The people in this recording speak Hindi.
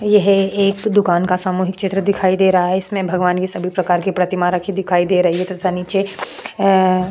यह एक दुकान का सामूहिक चित्र दिखाई दे रहा है इसमें भगवान के सभी प्रकार के प्रतीमा रखी दिखाई दे रहा है तथा नीचे अ --